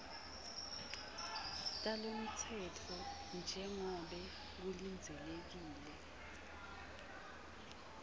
talomtsetfo njengobe kulindzelekile